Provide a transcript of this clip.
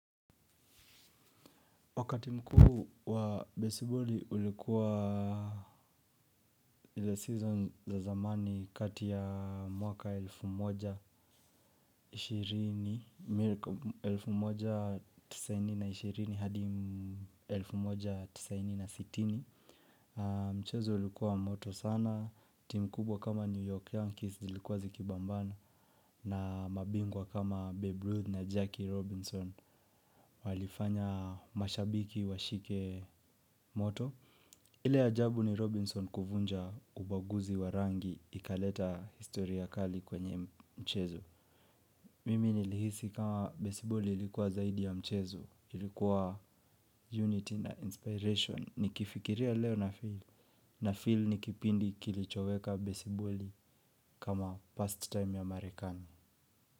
Wakati mkuu wa besiboli ulikua the season za zamani kati ya mwaka elfu moja ishirini, elfu moja tisaini na ishirini hadi elfu moja tisaini na sitini. Mchezo ulikua moto sana, timu kubwa kama New York Yankees zilikua zikipambana na mabingwa kama Babe Ruth na Jackie Robinson walifanya mashabiki washike moto. Ile ya ajabu ni Robinson kuvunja ubaguzi wa rangi, ikaleta historia kali kwenye mchezo. Mimi nilihisi kama besiboli ilikuwa zaidi ya mchezo, ilikua unity na inspiration. Nikifikiria leo na feel, na feel ni kipindi kilichoweka besiboli kama past time ya marekani.